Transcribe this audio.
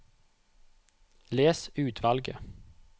Les utvalget